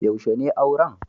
Yaushe ne auran?